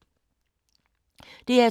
DR2